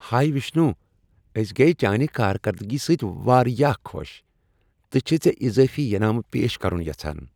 ہایہ وشنو، أسۍ گٔیۍ چانہِ کارکردگی سۭتۍ واریاہ خۄش تہٕ چھِیہ ژےٚ اِضٲفی ینامہٕ پیش كرُن یژھان۔